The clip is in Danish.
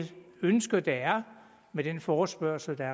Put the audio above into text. ønske der er med den forespørgsel der